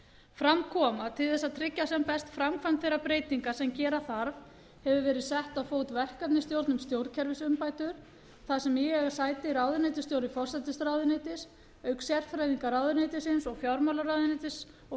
fram kom að til þess að tryggja sem best framkvæmd þeirra breytinga sem gera þarf hefur verið sett á fót verkefnisstjórn um stjórnkerfisumbætur þar sem í eiga sæti ráðuneytisstjóri forsætisráðuneytis auk sérfræðinga ráðuneytisins og fjármálaráðuneytis og